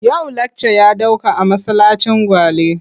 Yau lakca ya ɗauka a masallacin Gwale.